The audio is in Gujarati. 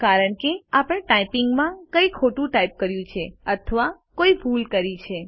કારણ કે આપણે ટાઇપિંગમાં કંઈક ખોટું ટાઇપ કર્યું છે અથવા કોઈ ભૂલ કરી છે